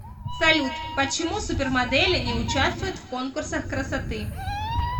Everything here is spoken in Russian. салют почему супермодели не участвуют в конкурсах красоты